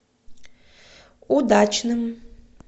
удачным